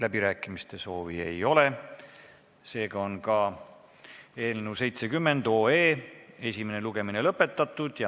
Läbirääkimiste soovi ei ole, seega on ka eelnõu 70 esimene lugemine lõpetatud.